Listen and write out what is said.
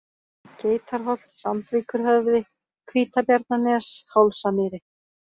Geitarholt, Sandvíkurhöfði, Hvítabjarnarnes, Hálsamýri